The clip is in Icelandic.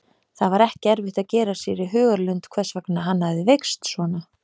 Það var ekki erfitt að gera sér í hugarlund hvers vegna hann hafði veikst svona.